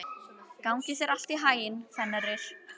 Gangi þér allt í haginn, Fenrir.